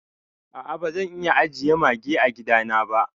A a bazan iya ajiye Mage a gida na ba.